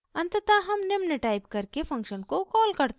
अंततः हम निम्न टाइप करके फंक्शन को कॉल करते हैं